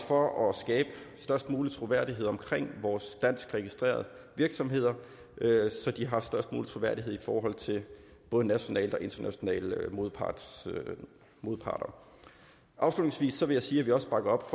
for at skabe størst mulig troværdighed om vores dansk registrerede virksomheder så de har størst mulig troværdighed i forhold til både nationale og internationale modparter modparter afslutningsvis vil jeg sige at vi også bakker op